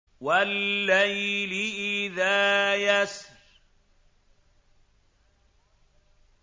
وَاللَّيْلِ إِذَا يَسْرِ